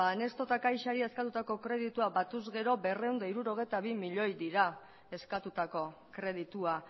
banesto eta caixari azaldutako kredituak batuz gero berrehun eta hirurogeita hiru milioi dira eskatutako kreditua